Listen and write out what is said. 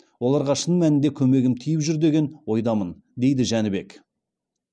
оларға шын мәнінде көмегім тиіп жүр деген ойдамын дейді жәнбек